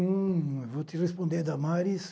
Hum, eu vou te responder, Damaris.